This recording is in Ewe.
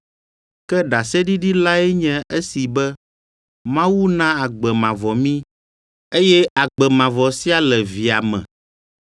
Ke ɖaseɖiɖi lae nye esi be Mawu na agbe mavɔ mí, eye agbe mavɔ sia le Via me.